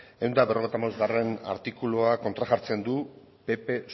ehun eta berrogeita hamabost artikulua kontra jartzen du pp